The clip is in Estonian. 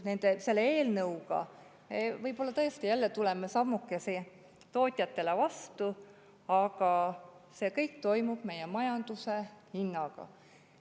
Selle eelnõuga võib-olla tõesti jälle tuleme sammukese tootjatele vastu, aga see kõik toimub meie majanduse hinnaga.